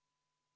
Asi selge!